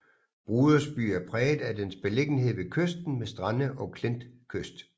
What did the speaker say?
Brodersby er præget af dens beliggenhed ved kysten med strande og klintkyst